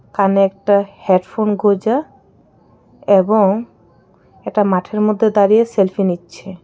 কানে একটা হেডফোন গুঁজা এবং একটা মাঠের মধ্যে দাঁড়িয়ে সেলফি নিচ্ছে.